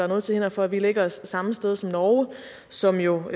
noget til hinder for at vi lægger os det samme sted som norge som jo